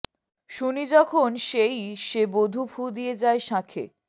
শুনি যখন সেই সে বধূ ফু দিয়ে যায় শাঁখে